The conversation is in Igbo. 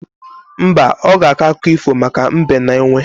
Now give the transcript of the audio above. Mba, ọ ga-akọ akụkọ ifo maka Mbe na Enwe